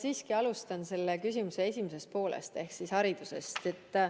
Ma alustan selle küsimuse esimesest poolest ehk haridusest.